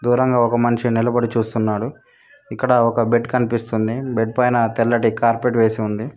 దూరంగా ఒక మనిషి నిలబడి చూస్తున్నాడు ఇక్కడ ఒక బెడ్ కనిపిస్తుంది బెడ్ పైన తెల్లటి కార్పెట్ వేసి ఉంది.